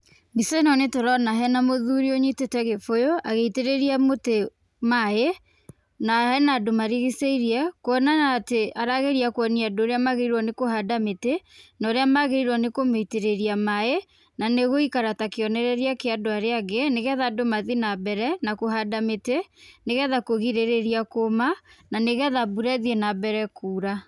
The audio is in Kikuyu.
Mbica ĩno nĩ tũrona hena mũthuri ũnyitĩte gĩbũyũ, agĩitĩrĩria mũtĩ maĩ, na hena andũ marigicĩirie, kuona atĩ arageria kuonia andũ ũrĩa magĩrĩire nĩ kũhanda mĩtĩ, na ũrĩa magĩrĩirwo nĩ kũmĩitĩrĩria maĩ, na nĩ gũikara ta kionereria kĩa andũ arĩa angĩ, nĩ getha andũ mathi na mbere na kũhanda mĩtĩ, nĩ getha kũgirĩrĩa kũũma, na nĩ getha mbura ĩthiĩ na mbere kuura.